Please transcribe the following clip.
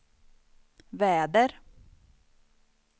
väder